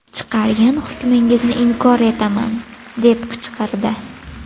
Chiqargan hukmingizni inkor etaman” deb qichqirdi.